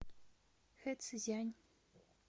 хэцзянь